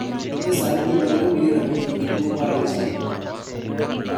Gi e sani ji madirom milion 5 nigi tuwo mar Alzheimer.